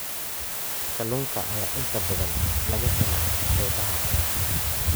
Kalluunka ayaa inta badan laga helaa xeebaha.